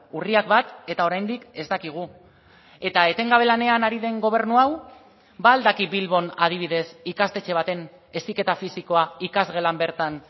urriak bat eta oraindik ez dakigu eta etengabe lanean ari den gobernu hau ba al daki bilbon adibidez ikastetxe baten heziketa fisikoa ikasgelan bertan